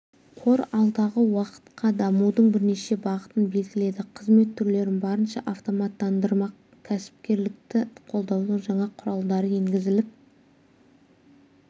қор алдағы уақытқа дамудың бірнеше бағытын белгіледі қызмет түрлерін барынша автоматтандырмақ кәсіпкерлікті қолдаудың жаңа құралдары енгізіліп